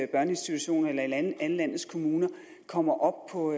børneinstitutioner eller alle landets kommuner kommer op på